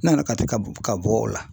N nana Kati ka bɔ ka b'o la.